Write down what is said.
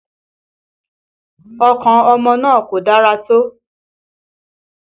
Ọkàn ọmọ náà kò dára tó